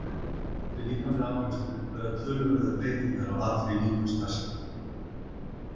Við líkamlega áreynslu verða töluverðar breytingar á allri líkamsstarfsemi.